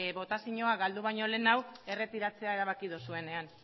botazioa galdu baino lehenago erretiratzea erabaki duzuenean